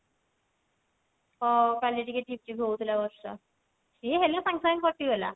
ହଁ କାଲି ଟିକେ ଝିପ ଝିପ ହଉଥିଲା ବର୍ଷା ସିଏ ହେଲା ସାଙ୍ଗେ ସାଙ୍ଗେ କଟିଗଲା